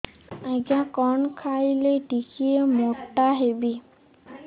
ଆଜ୍ଞା କଣ୍ ଖାଇଲେ ଟିକିଏ ମୋଟା ହେବି